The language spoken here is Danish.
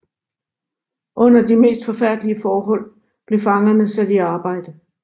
Under de mest forfærdelige forhold blev fangerne sat i arbejde